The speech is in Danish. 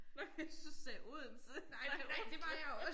Nåh jeg syntes du sagde Odense var det Oslo?